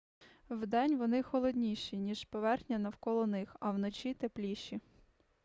вдень вони холодніші ніж поверхня навколо них а вночі тепліші